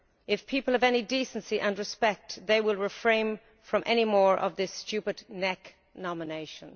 If people have any decency and respect they will refrain from any more of this stupid neck nomination.'